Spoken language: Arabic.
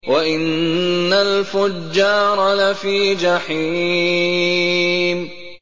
وَإِنَّ الْفُجَّارَ لَفِي جَحِيمٍ